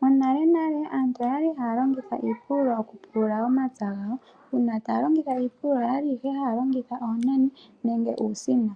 Monalenale aantu oyali haya longitha iipululo okupulula omapya gayo. Uuna taya longitha iipululo oyali ihe haya longitha oonani nenge uusino.